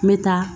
N bɛ taa